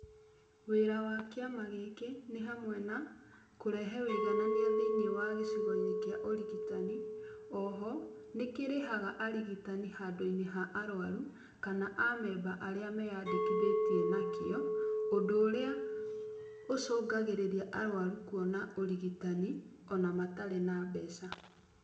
Wĩra wa kĩama gĩkĩ nĩ hamwe na kũrehe ũiganania thĩinĩ wa gĩcigo-inĩ kĩa ũrigitani, oho nĩkĩrĩhaga arigitani handũ ha arwaru kana a member arĩa meyandĩkithĩtie nakĩo ũndũ ũrĩa ũcũngagĩrĩragia arwarũ kũona ũrigitani ona matarĩ na mbeca.